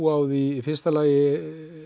á því í fyrsta lagi